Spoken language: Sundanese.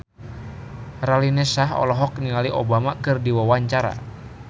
Raline Shah olohok ningali Obama keur diwawancara